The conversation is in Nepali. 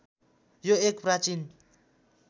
यो एक प्राचीन